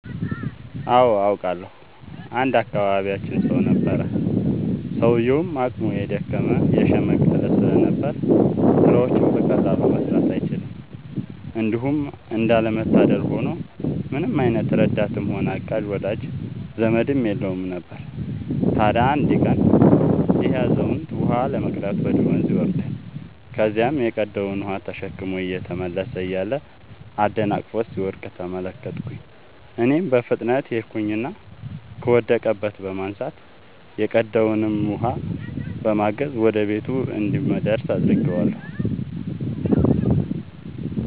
አዎ አውቃለሁ። አንድ የአካባቢያችን ሰው ነበረ፤ ሰውዬውም አቅሙ የደከመ የሽምገለ ስለነበር ስራዎችን በቀላሉ መስራት አይችልም። እንዲሁም እንዳለ መታደል ሆኖ ምንም አይነት ረዳትም ሆነ አጋዥ ወዳጅ ዘመድም የለውም ነበር። ታዲያ አንድ ቀን ይሄ አዛውንት ውሃ ለመቅዳት ወደ ወንዝ ይወርዳል። ከዚያም የቀዳውን ውሃ ተሸክሞ እየተመለሰ እያለ አደናቅፎት ሲወድቅ ተመለከትኩኝ እኔም በፍጥነት ሄድኩኝና ከወደቀበት በማንሳት የቀዳውንም በማገዝ ወደ ቤቱ እንዲደርስ አድርጌአለሁ።